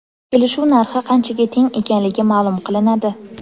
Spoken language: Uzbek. Kelishuv narxi qanchaga teng ekanligi ma’lum qilinadi.